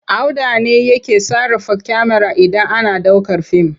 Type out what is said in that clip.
Auda ne yake sarrafa kyamara idan ana ɗaukar fim.